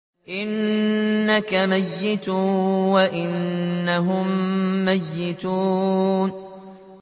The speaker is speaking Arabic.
إِنَّكَ مَيِّتٌ وَإِنَّهُم مَّيِّتُونَ